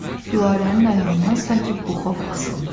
Gülarənin ayağından sanki buxov asılmışdı.